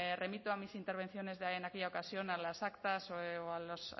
remito a mis intervenciones en aquella ocasión a las actas a mis